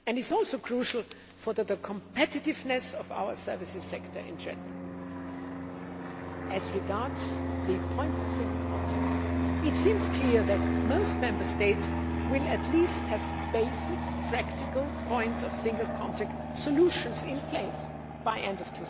And it is also crucial for the competitiveness of our services sector in general. As regards the points of single contact, it seems clear that most Member States will at least have basic, practical, point of single contact solutions in place by the end of